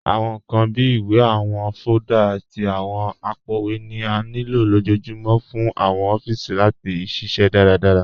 Awọn nkan bíi ìwé, awọn fóòlda, àti awọn àpòowé ni à nílo lọjọ́ọ̀júmọ̀ fún awọn òfíìsí láti ṣiṣẹ daradárá